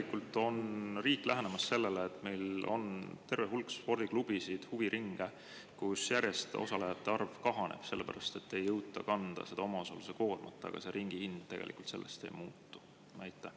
Kuidas on riik lähenemas sellele, et meil on terve hulk spordiklubisid, huviringe, kus osalejate arv järjest kahaneb, sest ei jõuta kanda omaosaluse koormat ja ringis hind ei muutu?